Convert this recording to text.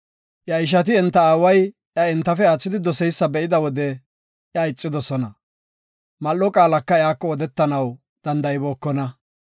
Iya ishati enta aaway iya entafe aathidi doseysa be7ida wode iya ixidosona. Mal7o qaalaka iyako odetanaw danda7ibookona.